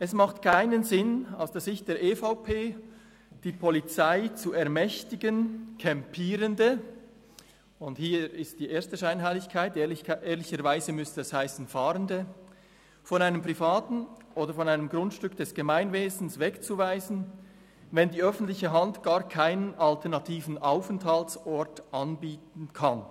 Es macht aus Sicht der EVP keinen Sinn, die Polizei zu ermächtigen, Campierende – und hier ist die erste Scheinheiligkeit, ehrlicherweise müsste es heissen, Fahrende – von einem privaten Grundstück oder einem Grundstück des Gemeinwesens wegzuweisen, wenn die öffentliche Hand gar keinen alternativen Aufenthaltsort anbieten kann.